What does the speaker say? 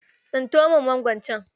Tsinko min mangon can.